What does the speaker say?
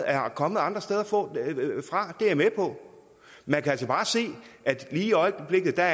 er kommet andre steder fra det er jeg med på man kan altså bare se at lige i øjeblikket er